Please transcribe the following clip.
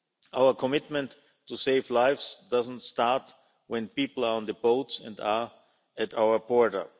Our commitment to save lives doesn't start when people are on the boats and at our borders.